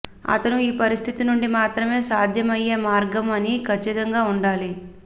అతను ఈ పరిస్థితి నుండి మాత్రమే సాధ్యమయ్యే మార్గం అని ఖచ్చితంగా ఉండాలి